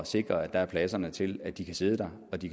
sikre at der er pladserne til at de kan sidde der og de